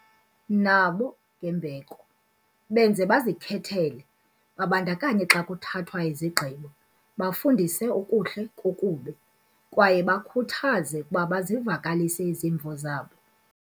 nabo ngembeko, benze bazikhethele, babandakanye xa kuthathwa izigqibo, bafundise okuhle kokubi, kwaye bakhuthaze ukuba bazivakalise izimvo zabo.